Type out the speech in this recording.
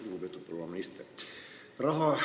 Lugupeetud proua minister!